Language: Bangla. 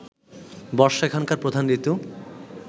বর্ষা এখানকার প্রধান ঋতু